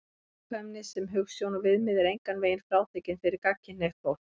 Gagnkvæmni sem hugsjón og viðmið er engan veginn frátekin fyrir gagnkynhneigt fólk.